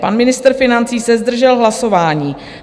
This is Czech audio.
Pan ministr financí se zdržel hlasování.